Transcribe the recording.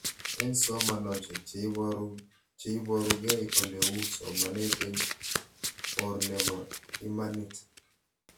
Eng' somanoshek che iparukei ole uu somanet eng' or nepo imanit